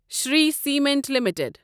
Shri Cement limited